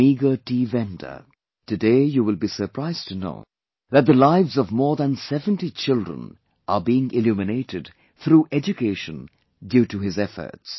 A meagre tea vendor; today you will be surprised to know that the lives of more than 70 children are being illuminated through education due to his efforts